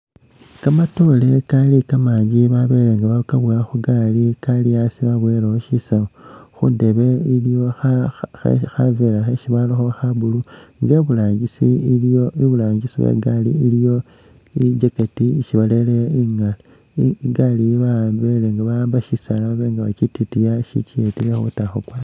Kamatoore kali kamangi babele nga bakabowa khu gaali, kali asi babowelekho shisaawu, khundeebe iliwo khaveera khesi barakho kha blue, nga iburangisi iliyo, iburangisi we igaali iliyo i jacket isi barele {?},Igaali ba'ambile nga ba'amba shisaala baba bakyitikiya shikiyeta ila khukwa ta.